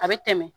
A bɛ tɛmɛ